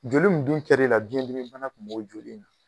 Joli mun dun kɛr'e la biyɛn dimi bana tun b'o joli in na.